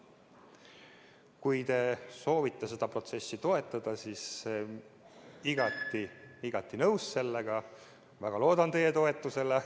Kui te soovite seda protsessi toetada, siis olen sellega igati nõus, väga loodan teie toetusele.